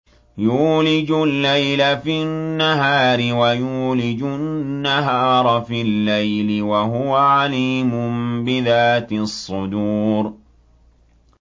يُولِجُ اللَّيْلَ فِي النَّهَارِ وَيُولِجُ النَّهَارَ فِي اللَّيْلِ ۚ وَهُوَ عَلِيمٌ بِذَاتِ الصُّدُورِ